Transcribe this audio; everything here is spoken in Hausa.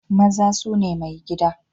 Maza su ne maigida